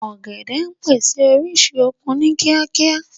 Ọ̀gẹ̀dẹ̀ ń pèsè orísun okun ni kíákíá